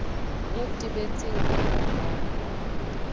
o tebetseng a re ha